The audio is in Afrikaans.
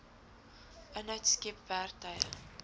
inhoud skep werktuie